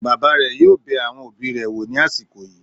Bàbá rẹ̀ yóò bẹ àwọn òbí rẹ̀ wò ní àsìkò yìí